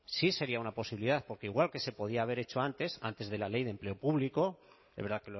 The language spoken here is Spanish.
sí sería una posibilidad porque igual que se podía haber hecho antes antes de la ley de empleo público es verdad